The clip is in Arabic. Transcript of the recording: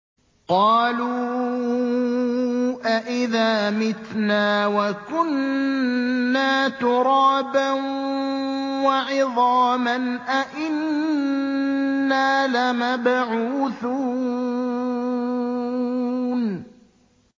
قَالُوا أَإِذَا مِتْنَا وَكُنَّا تُرَابًا وَعِظَامًا أَإِنَّا لَمَبْعُوثُونَ